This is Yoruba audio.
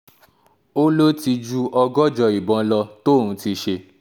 ó lò ti ju ọgọ́jọ ìbọn lọ tóun ti ṣe